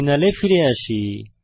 টার্মিনালে ফিরে আসি